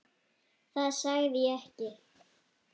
Það sagði ég ekki